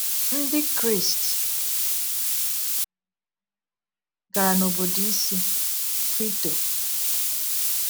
Ndị Crist gara n’obodo isi, Quito.